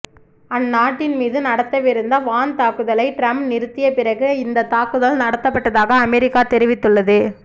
அந்நாட்டின் மீது நடத்தவிருந்த வான் தாக்குதலை டிரம்ப் நிறுத்திய பிறகு இந்தத் தாக்குதல் நடத்தப்பட்டதாக அமெரிக்க தெரிவித்துள்ளது